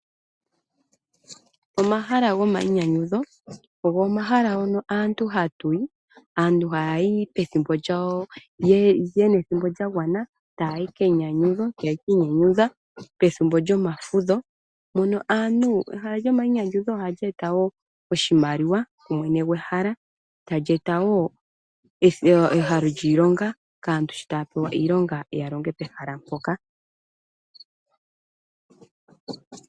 Omahala gomayinyanyudho, ogo omahala hono aantu hatuyi aantu haya yi pethimbo lyawo, yena ethimbo lyagwana taya yi keyinyanyudho yeki inyanyudha pethimbo lyomafudho, mono aantu ehala lyomainyanyudho oha li eta wo oshimaliwa kumwene gwehala, tali eta wo ehalo lyiilonga kaantu sho taya pewa iilonga ya longe pehala mpoka.